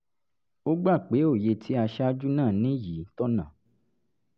ó gbà pé òye tí aṣáájú náà ní yìí tọ̀nà